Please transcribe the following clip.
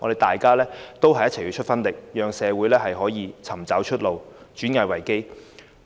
大家要群策群力，讓社會能夠找到出路，轉危為機。